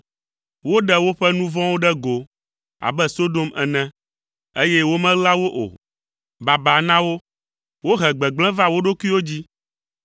Woɖe woƒe nu vɔ̃wo ɖe go abe Sodom ene, eye womeɣla wo o. Baba na wo! Wohe gbegblẽ va wo ɖokuiwo dzi.